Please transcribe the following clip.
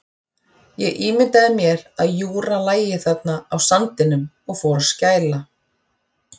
Ég ímyndaði mér að Júra lægi þarna á sandinum og fór að skæla.